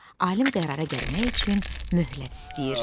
Alim qərara gəlmək üçün möhlət istəyir.